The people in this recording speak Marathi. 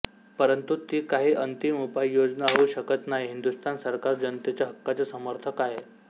परंतु ती काही अंतिम उपाययोजना होऊ शकत नाही हिंदुस्थान सरकार जनतेच्या हक्कांचे समर्थक आहे